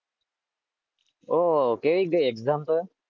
ઓ કેવી ગઈ એક્જામ તો?